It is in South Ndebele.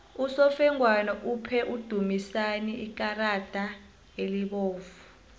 usofengwana uphe udumisani ikarada elibovu